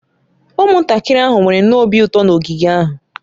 Ụmụntakịrị ahụ nwere nnọọ obi ụtọ na ogige ahụ